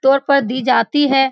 तौर पर दी जाती है।